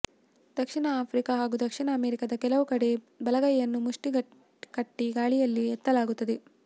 ದಕ್ಷಿಣ Africa ಹಾಗೂ ದಕ್ಷಿಣ ಅಮೆರಿಕದ ಕೆಲವು ಕಡೆ ಬಲಗೈಯನ್ನು ಮುಷ್ಟಿ ಕಟ್ಟಿ ಗಾಳಿಯಲ್ಲಿ ಎತ್ತಲಾಗುತ್ತದೆ